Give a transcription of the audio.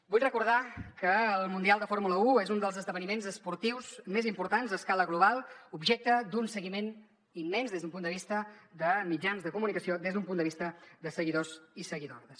vull recordar que el mundial de fórmula un és un dels esdeveniments esportius més importants a escala global objecte d’un seguiment immens des d’un punt de vista de mitjans de comunicació des d’un punt de vista de seguidors i seguidores